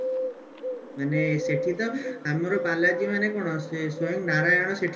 ମାନେ ସେଠି ତ ଆମର ବାଲାଜୀ ମାନେ କଣ ଯେ ସ୍ଵୟଂ ନାରାୟଣ ଅଛନ୍ତି